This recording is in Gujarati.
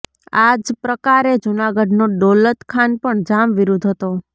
આ જ પ્રકારે જૂનાગઢનો દૌલત ખાન પણ જામ વિરુદ્ધ હતો